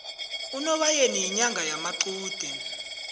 unobayeni inyanga yamaqude